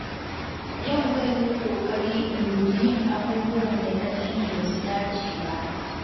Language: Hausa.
Yau zan yi ƙoƙari in guji yin abubuwan da na sani ba su dace ba.